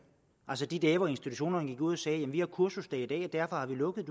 altså de dage hvor institutionerne gik ud og sagde vi har kursusdag i dag og derfor har vi lukket